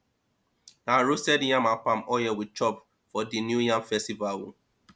na roasted yam and palm oil we chop for di new yam festival o